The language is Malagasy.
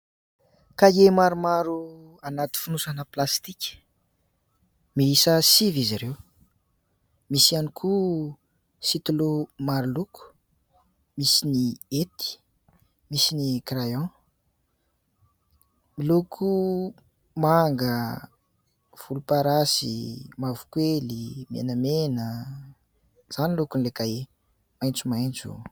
Kahie maromaro anaty fonosana plastika, miisa sivy izy ireo. Misy ihany koa "stylo" maro loko, misy ny hety, misy ny "crayon" ; miloko manga, volomparasy, mavokely, menamena ... izany ny lokon'ilay kahie ; maitsomaitso ...